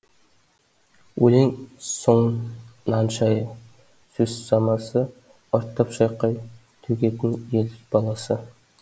өлең соның нан шайы сөз самасы ұрттап шайқап төгетін ез баласы